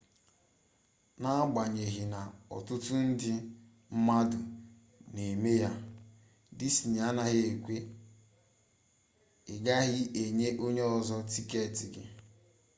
n’agbanyeghi na otutu ndi mmadu n’eme ya disney anaghi ekwe: i gaghi enye onye ozo tiketi gi